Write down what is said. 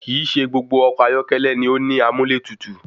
Kìí ṣe gbogbo ọkọ̀ ayọ́kẹ́lẹ́ ni ó ní amúlẹ́tutù.